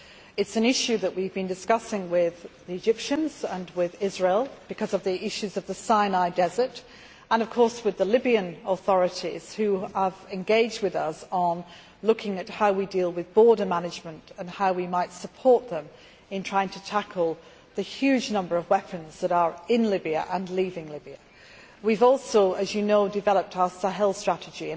It is an issue that we have been discussing with the Egyptians and with Israel, because of the issues of the Sinai desert, and of course with the Libyan authorities which have engaged with us on looking at how we deal with border management and how we might support them in trying to tackle the huge number of weapons that are in Libya and leaving Libya. We have also, as you know, developed our Sahel strategy.